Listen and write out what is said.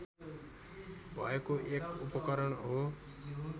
भएको एक उपकरण हो